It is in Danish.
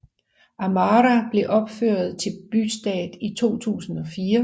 Amara blev ophøjet til bystatus i 2004